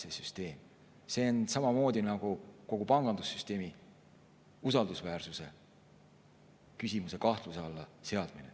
See oleks sama nagu kogu pangandussüsteemi usaldusväärsuse kahtluse alla seadmine.